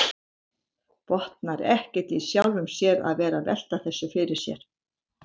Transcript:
Botnar ekkert í sjálfum sér að vera að velta þessu fyrir sér.